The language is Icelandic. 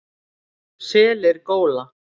Selir góla.